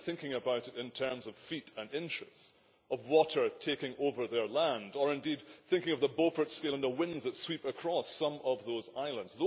they are thinking about it in terms of feet and inches of water taking over their land, or indeed thinking of the Beaufort scale and the winds that sweep across some of those islands.